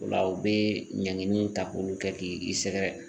O la u bɛ ɲangini ta k'olu kɛ k'i sɛgɛrɛ